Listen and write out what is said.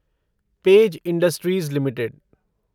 page Industries limited